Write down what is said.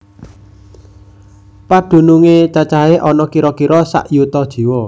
Pedunungé cacahé ana kira kira sak yuta jiwa